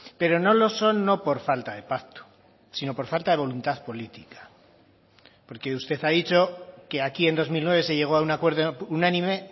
pero no lo son no por falta de pacto sino por falta de voluntad política porque usted ha dicho que aquí en dos mil nueve se llegó a un acuerdo unánime